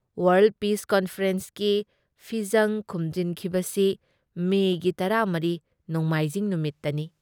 ꯋꯥꯥꯔꯜ peace ꯀꯟꯐꯔꯦꯟꯁꯀꯤ ꯐꯤꯖꯡ ꯈꯨꯝꯖꯤꯟꯈꯤꯕꯁꯤ ꯃꯦꯒꯤ ꯱꯴, ꯅꯣꯡꯃꯥꯏꯖꯤꯡ ꯅꯨꯃꯤꯠꯇꯅꯤ꯫